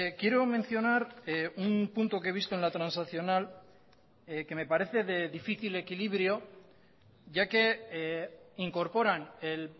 quiero mencionar un punto que he visto en la transaccional que me parece de difícil equilibrio ya que incorporan el